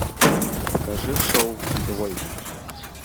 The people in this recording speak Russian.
покажи шоу двойка